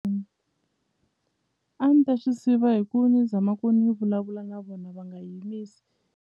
A ni ta swi siva hi ku ni zama ku ni vulavula na vona va nga .